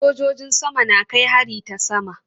Sojojin sama na kai hari ta sama.